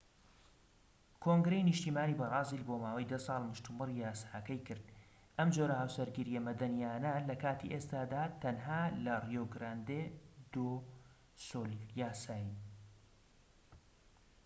کۆنگرەی نیشتیمانی بەرازیل بۆ ماوەی 10 ساڵ مشتومڕی یاساکەی کرد، ئەم جۆرە هاوسەرگیرییە مەدەنیانە لە کاتی ئێستادا تەنها لەڕیۆ گراندێ دۆ سول یاسایین‎